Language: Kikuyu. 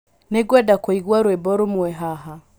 Nĩngwenda kũigua rwĩmbo rũmwe haha